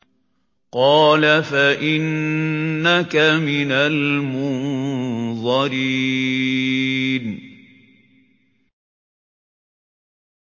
قَالَ فَإِنَّكَ مِنَ الْمُنظَرِينَ